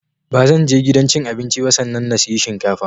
Ba zanje gidan cin abinci ba sannan na siyi shinkafa